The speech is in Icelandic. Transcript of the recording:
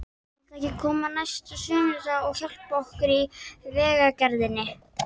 Viltu ekki koma næsta sunnudag og hjálpa okkur í vegagerðinni?